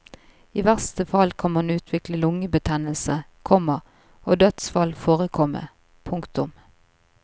I verste fall kan man utvikle lungebetennelse, komma og dødsfall forekomme. punktum